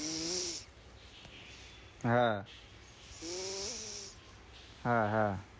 হ্যাঁ হ্যাঁ হ্যাঁ, হ্যাঁ